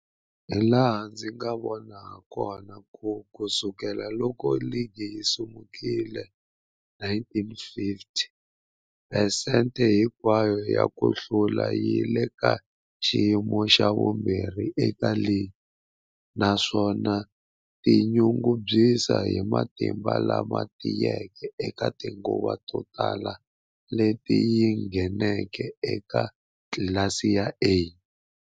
Hilaha ndzi nga vona hakona, ku sukela loko ligi yi simekiwile, 1950, phesente hinkwayo ya ku hlula yi le ka xiyimo xa vumbirhi eka ligi, naswona yi tinyungubyisa hi matimba lama tiyeke eka tinguva to tala leti yi ngheneke eka tlilasi ya A.